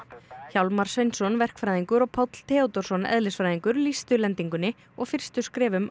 Hjálmar Sveinsson verkfræðingur og Páll Theódórsson eðlisfræðingur lýstu lendingunni og fyrstu skrefum